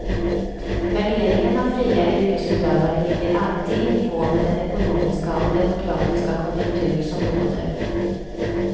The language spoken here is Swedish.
Värderingen av fria yrkesutövare ligger alltid i nivå med den ekonomiska och demokratiska konjunktur som råder.